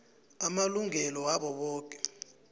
amalungelo wabo boke